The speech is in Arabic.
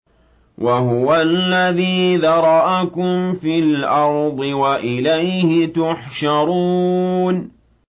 وَهُوَ الَّذِي ذَرَأَكُمْ فِي الْأَرْضِ وَإِلَيْهِ تُحْشَرُونَ